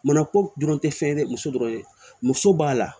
Mana ko dɔrɔn tɛ fɛn ye dɛ muso dɔrɔn ye muso b'a la